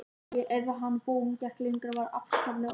Ef ég á hinn bóginn gekk lengra var ég afskaplega óréttlát.